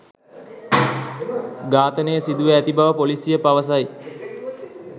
ඝාතනය සිදුව ඇති බව පොලිසිය පවසයි